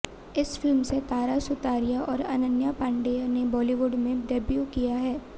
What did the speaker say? इस फिल्म से तारा सुतारिया और अनन्या पांडेय ने बाॅलीवुड में डेब्यू किया है